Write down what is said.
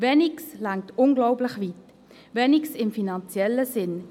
Weniges reicht unglaublich weit, Weniges im finanziellen Sinn.